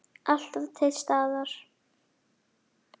Alltaf til staðar.